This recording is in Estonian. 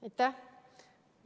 Aitäh!